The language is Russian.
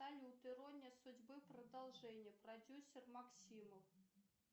салют ирония судьбы продолжение продюсер максимов